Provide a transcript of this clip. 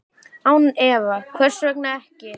Án efa, hvers vegna ekki?